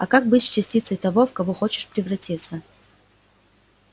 а как быть с частицей того в кого хочешь превратиться